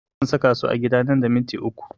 Zan saka su a gida nan da minti uku